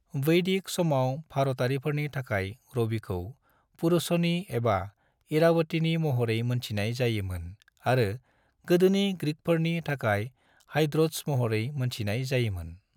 वैदिक समाव भारतारिफोरनि थाखाय रविखौ पुरुषनी एबा इरावतीनि महरै मोनथिनाय जायो मोन आरो गोदोनि ग्रीकफोरनि थाखाय हाइड्रोट्स महरै मोनथिनाय जायो मोन।